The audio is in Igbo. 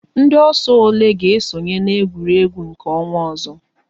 Ndị ọsọ ole ga esonye na-egwuregwu nke ọnwa ọzọ?